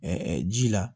ji la